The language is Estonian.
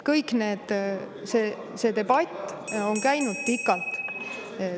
Kogu see debatt on käinud pikalt.